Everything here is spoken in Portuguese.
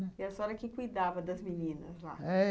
E a senhora que cuidava das meninas lá? é